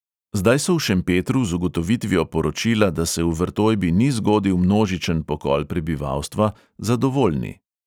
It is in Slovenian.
Zdaj so v šempetru z ugotovitvijo poročila, da se v vrtojbi ni zgodil množičen pokol prebivalstva, zadovoljni.